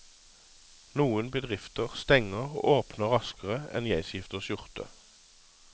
Noen bedrifter stenger og åpner raskere enn jeg skifter skjorte.